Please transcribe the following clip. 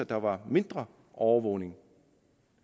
der var mindre overvågning